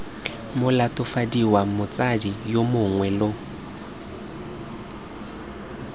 molatofadiwa motsadi yo mongwe lo